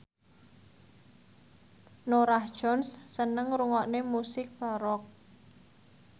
Norah Jones seneng ngrungokne musik baroque